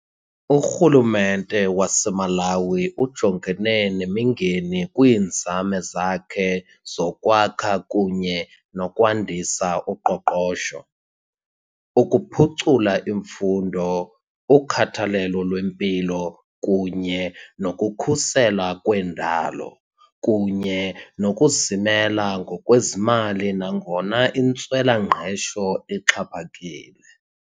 Urhulumente waseMalawi ujongene nemingeni kwiinzame zakhe zokwakha kunye nokwandisa uqoqosho, ukuphucula imfundo, ukhathalelo lwempilo, kunye nokukhuselwa kwendalo, kunye nokuzimela ngokwezimali nangona intswela-ngqesho ixhaphakile.